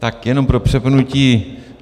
Tak jenom pro připomenutí.